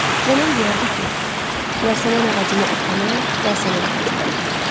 Nənən deyərdi ki, yasəmən ağacını əkənə yasəmən ağacı dəyər.